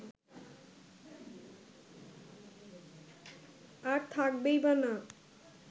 আর থাকবেই বা না